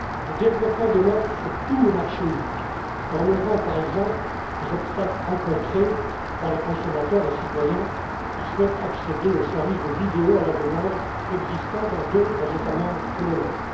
Le développement de l'offre sur tout le marché unique, en levant par exemple les obstacles rencontrés par les consommateurs, les citoyens qui souhaitent accéder aux services de vidéo à la demande existant dans d'autres États membres que le